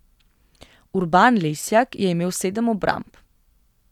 Urban Lesjak je imel sedem obramb.